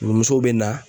Musow bɛ na